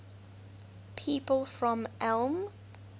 people from ulm